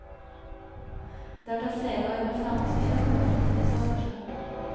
Det har tatt flere år med forhandlinger å komme frem til et lovforslag.